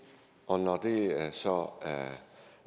og når det så